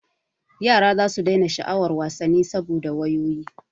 Yara zasu daina sha'awar wasanni saboda wayoyi.